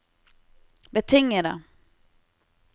betingede